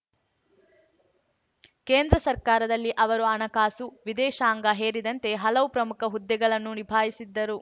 ಕೇಂದ್ರ ಸರ್ಕಾರದಲ್ಲಿ ಅವರು ಹಣಕಾಸು ವಿದೇಶಾಂಗ ಹೇರಿದಂತೆ ಹಲವು ಪ್ರಮುಖ ಹುದ್ದೆಗಳನ್ನು ನಿಭಾಯಿಸಿದ್ದರು